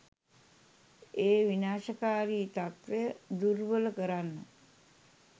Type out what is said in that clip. ඒ විනාශකාරී තත්ත්වය දුර්වල කරන්න